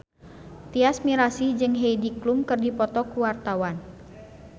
Tyas Mirasih jeung Heidi Klum keur dipoto ku wartawan